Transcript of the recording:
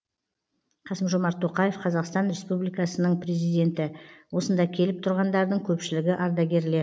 қасым жомарт тоқаев қазақстан республикасының президенті осында келіп тұрғандардың көпшілігі ардагерлер